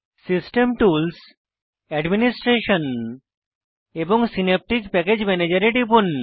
system tools administration এবং synaptic package ম্যানেজের এ টিপুন